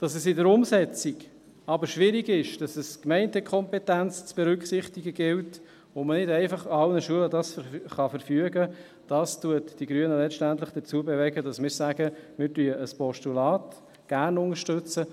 Dass es in der Umsetzung aber schwierig ist, dass es Gemeindekompetenzen zu berücksichtigen gilt und man das nicht einfach für alle Schulen verfügen kann, bewegt die Grünen letztendlich dazu, dass wir sagen, wir unterstützen gerne ein Postulat.